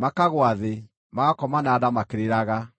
makagũa thĩ, magakoma na nda makĩrĩraga.